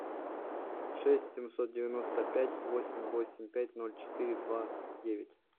шесть семьсот девяносто пять восемь восемь пять ноль четыре два девять